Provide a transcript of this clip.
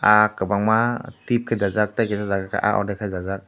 ah kwbangma tip khe dajak tei kaisa jaga khe ah ordek khe dajak.